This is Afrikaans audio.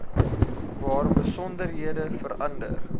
waar besonderhede verander